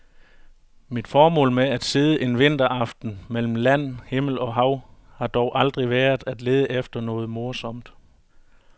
Mit formål med at sidde en vinteraften mellem land, himmel og hav har dog aldrig været at lede efter noget morsomt.